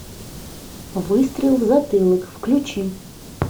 выстрел в затылок включи